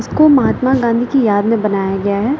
इसको महात्मा गांधी की याद में बनाया गया है।